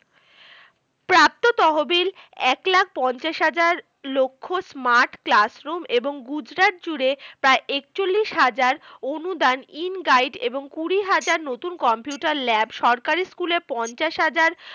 প্রাপ্ত তহবিল এক লাখ পঞ্চাশ হাজার লক্ষ্ smart classroom এবং গুজরাট জুড়ে প্রায় একচল্লিশ হাজার অনুদান in guide এবং কুড়ি হাজার নতুন computer lab সরকারি school এ পঞ্চাশ হাজার